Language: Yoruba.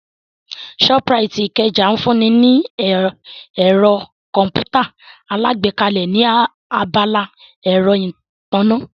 Shoprite Ikeja ń fún ni ní ẹ̀rọ Kọ̀m̀pútà alágbèéká ní abala ẹ̀rọ ìtànná